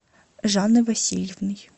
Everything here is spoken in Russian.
жанной васильевной